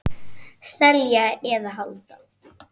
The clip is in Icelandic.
Selja eða halda?